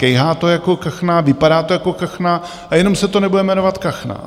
Kejhá to jako kachna, vypadá to jako kachna a jenom se to nebude jmenovat kachna.